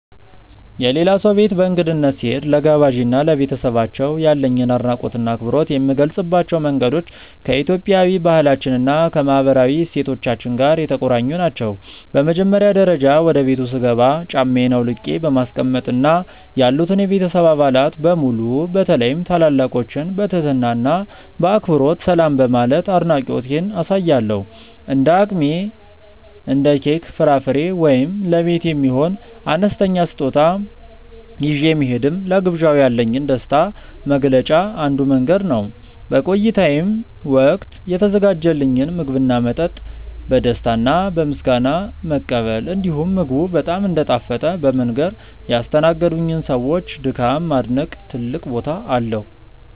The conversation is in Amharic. የሌላ ሰው ቤት በእንግድነት ስሄድ፣ ለጋባዤ እና ለቤተሰባቸው ያለኝን አድናቆትና አክብሮት የምገልጽባቸው መንገዶች ከኢትዮጵያዊ ባህላችን እና ከማህበራዊ እሴቶቻችን ጋር የተቆራኙ ናቸው። በመጀመሪያ ደረጃ፣ ወደ ቤቱ ስገባ ጫማዬን አውልቄ በማስቀመጥ እና ያሉትን የቤተሰብ አባላት በሙሉ በተለይም ታላላቆችን በትህትና እና በአክብሮት ሰላም በማለት አድናቆቴን አሳያለሁ። እንደ አቅሜ እንደ ኬክ፣ ፍራፍሬ ወይም ለቤት የሚሆን አነስተኛ ስጦታ ይዤ መሄድም ለግብዣው ያለኝን ደስታ መግለጫ አንዱ መንገድ ነው። በቆይታዬም ወቅት የተዘጋጀልኝን ምግብና መጠጥ በደስታ እና በምስጋና መቀበል፣ እንዲሁም ምግቡ በጣም እንደጣፈጠ በመንገር ያስተናገዱኝን ሰዎች ድካም ማድነቅ ትልቅ ቦታ አለው።